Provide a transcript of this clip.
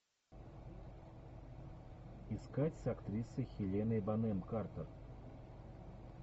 искать с актрисой хеленой бонем картер